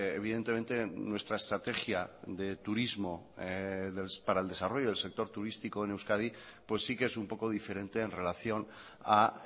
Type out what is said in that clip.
evidentemente nuestra estrategia de turismo para el desarrollo del sector turístico en euskadi pues sí que es un poco diferente en relación a